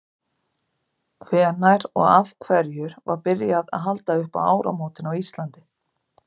hvenær og af hverju var byrjað að halda upp á áramótin á íslandi